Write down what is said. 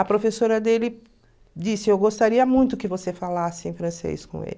A professora dele disse, eu gostaria muito que você falasse em francês com ele.